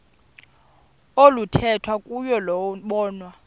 oluthethwa kuyo lobonwa